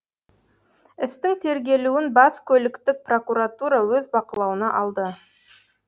істің тергелуін бас көліктік прокуратура өз бақылауына алды